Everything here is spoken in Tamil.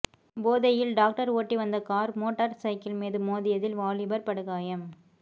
போதையில் டாக்டர் ஓட்டி வந்த கார் மோட்டார் சைக்கிள் மீது மோதியதில் வாலிபர் படுகாயம்